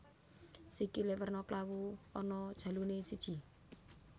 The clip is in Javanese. Sikilé werna klawu ana jaluné siji